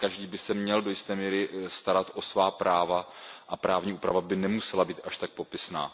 že každý by se měl do jisté míry starat o svá práva a právní úprava by nemusela být až tak popisná.